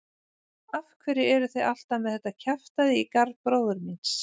Af hverju eruð þið alltaf með þetta kjaftæði í garð bróður míns?